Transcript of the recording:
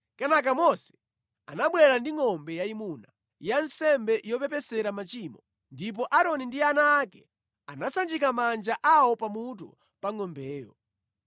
Kenaka Mose anabwera ndi ngʼombe yayimuna ya nsembe yopepesera machimo, ndipo Aaroni ndi ana ake anasanjika manja awo pamutu pa ngʼombeyo.